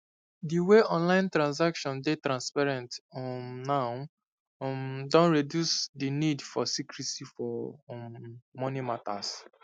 di way online transactions dey transparent um now um don reduce di nid for secrecy for um moni matters